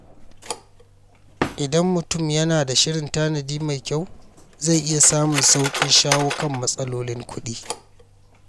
Idan mutum yana da shirin tanadi mai kyau, zai iya samun sauƙin shawo kan matsalolin kuɗi.